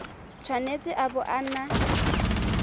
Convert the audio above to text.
tshwanetse a bo a na